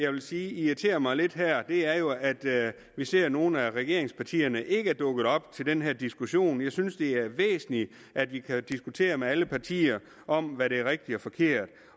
vil sige irriterer mig lidt her er jo at vi ser at nogle af regeringspartierne ikke er dukket op til den her diskussion jeg synes at det er væsentligt at vi kan diskutere med alle partier om hvad der er rigtigt og forkert